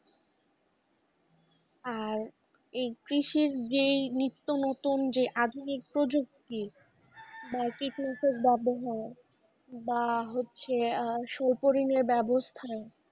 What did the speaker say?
আর এই কৃষির যে নিত্য নতুন যে আধুনিক প্রজুক্তি বা কীটনাশক ব্যাবহার বা হচ্ছে আহ সরপরিনের ব্যাবস্থা,